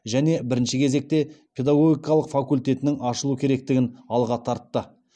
және бірінші кезекте педагогикалық факультеттің ашылу керектігін алға тартты